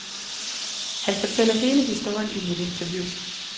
Han fortæller hele historien i mit interview.